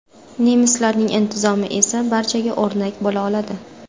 Nemislarning intizomi esa barchaga o‘rnak bo‘la oladi.